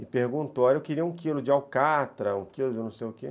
E perguntou, olha, eu queria um quilo de alcatra, um quilo de não sei o quê.